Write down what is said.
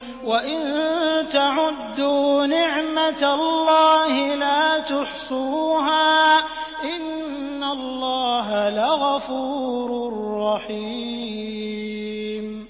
وَإِن تَعُدُّوا نِعْمَةَ اللَّهِ لَا تُحْصُوهَا ۗ إِنَّ اللَّهَ لَغَفُورٌ رَّحِيمٌ